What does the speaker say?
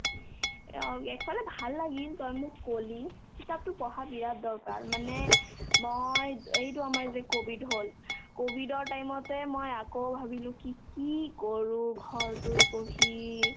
অ, একফালে ভাল লাগিল তই মোক ক'লি কিতাপতো পঢ়া বিৰাট দৰকাৰ মানে মই এইটো আমাৰ যে ক'ভিড হ'ল ক'ভিডৰ time তে মই আকৌ ভাবিলো কি কি কৰো ঘৰটোত বহি